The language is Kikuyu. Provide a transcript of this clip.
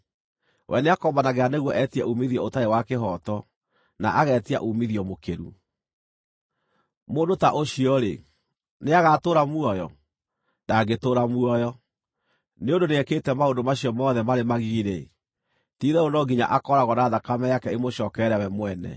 We nĩakombanagĩra nĩguo etie uumithio ũtarĩ wa kĩhooto, na agetia uumithio mũkĩru. Mũndũ ta ũcio-rĩ, nĩagatũũra muoyo? Ndangĩtũũra muoyo! Nĩ ũndũ nĩekĩte maũndũ macio mothe marĩ magigi-rĩ, ti-itherũ no nginya akooragwo na thakame yake ĩmũcookerere we mwene.